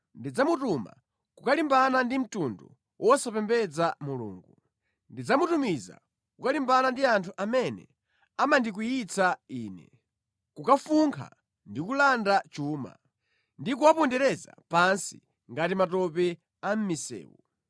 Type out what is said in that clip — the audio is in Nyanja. Ndidzamutuma kukalimbana ndi mtundu wosapembedza Mulungu, ndidzamutumiza kukalimbana ndi anthu amene amandikwiyitsa Ine, kukafunkha ndi kulanda chuma, ndi kuwapondereza pansi ngati matope a mʼmisewu.